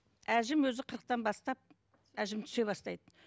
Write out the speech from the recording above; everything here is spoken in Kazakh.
әжім өзі қырықтан бастап әжім түсе бастайды